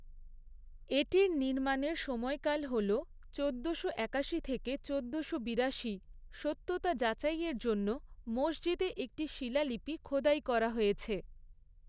এটির নির্মাণের সময়কাল হল চোদ্দোশো একাশি থেকে চোদ্দোশো বিরাশি; সত্যতা যাচাইের জন্য মসজিদে একটি শিলালিপি খোদাই করা হয়েছে।